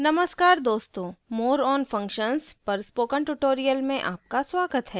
नमस्कार दोस्तों more on functions पर spoken tutorial में आपका स्वागत है